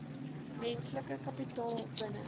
menslike kapitaal binne